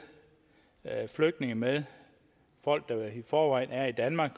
at flygtninge med folk der i forvejen er i danmark